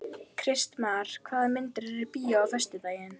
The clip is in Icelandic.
Kristmar, hvaða myndir eru í bíó á föstudaginn?